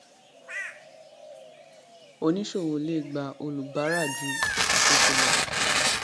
oníṣòwò le gba olùbárà ju ṣàkóso lọ